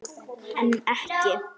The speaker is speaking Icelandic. En ekki.